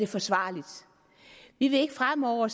forsvarligt vi vil fremover